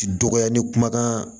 Dɔgɔya ni kumakan